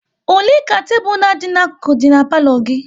Ole ka tebụl na adị na-akuku dị n'palo gị?